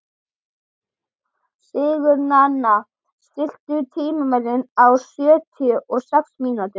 Sigurnanna, stilltu tímamælinn á sjötíu og sex mínútur.